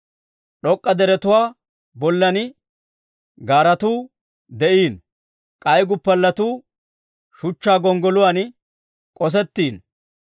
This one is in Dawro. D'ok'k'a deretuwaa bollan gaaratuu de'iino; k'ay guppalletuu Shuchchaa gonggoluwaan k'osettiino.